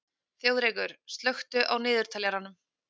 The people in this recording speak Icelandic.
Þjóðrekur, slökktu á niðurteljaranum.